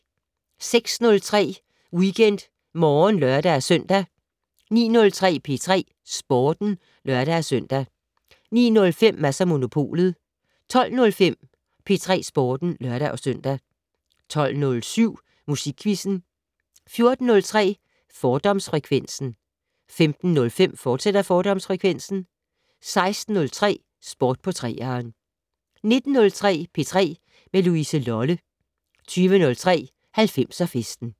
06:03: WeekendMorgen (lør-søn) 09:03: P3 Sporten (lør-søn) 09:05: Mads & Monopolet 12:05: P3 Sporten (lør-søn) 12:07: Musikquizzen 14:03: Fordomsfrekvensen 15:05: Fordomsfrekvensen, fortsat 16:03: Sport på 3'eren 19:03: P3 med Louise Lolle 20:03: 90'er-festen